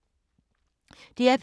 DR P2